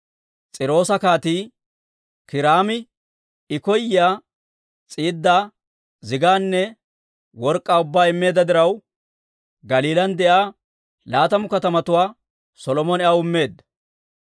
S'iiroosa Kaatii Kiiraami I koyyiyaa s'iidaa, zigaanne work'k'aa ubbaa immeedda diraw, Galiilan de'iyaa laatamu katamatuwaa Solomone aw immeedda.